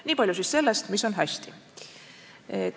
Nii palju siis sellest, mis on hästi.